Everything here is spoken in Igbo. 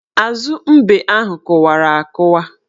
Azu mbe ahụ kụwara akụwa.